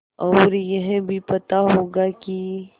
और यह भी पता होगा कि